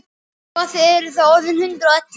Svo að þið eruð þá orðin hundrað og ellefu!